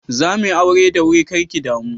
Zamuyi aure da wuri kar ki damu.